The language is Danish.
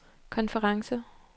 konference